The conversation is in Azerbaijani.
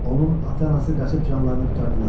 Onun ata-anası qaçıb canlarını qurtardılar.